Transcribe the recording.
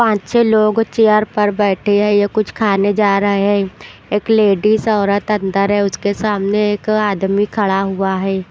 पांच छे लोग चेयर पर बैठे हैं यह कुछ खाने जा रहे हैं एक लेडीज औरत अंदर है उसके सामने एक आदमी खड़ा हुआ है।